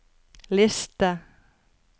liste